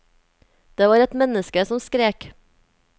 Det var et menneske som skrek.